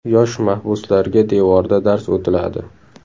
Yosh mahbuslarga devorda dars o‘tiladi.